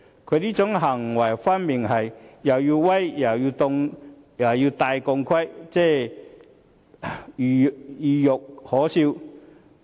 他這種行為分明是"又要威又要戴頭盔"，懦弱又可笑。